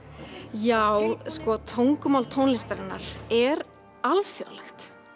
já sko tungumál tónlistarinnar er alþjóðlegt